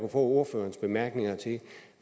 ordførerens bemærkninger til